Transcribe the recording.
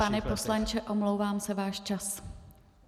Pane poslanče, omlouvám se, váš čas.